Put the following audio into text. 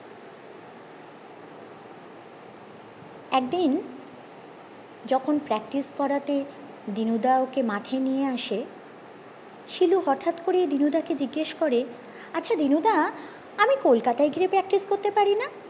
একদিন যখন practice করতে দিনুদা ওকে মাঠে নিয়ে আসে শিলু হটাৎ করে দিনুদা কে জিজ্ঞেস করে আচ্ছা দিনুদা আমি কলকাতায় গিয়ে practice করতে পারি না